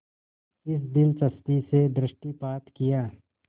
इस दिलचस्पी से दृष्टिपात किया